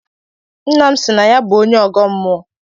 Nnam si na ya bu onye ọgọ mmụọ